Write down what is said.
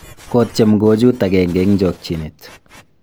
kotyem kochuut agenge eng' chokchinet